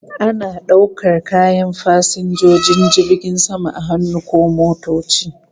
Ana daukar kayan fasinjojin jirgin sama a hannu ko motoci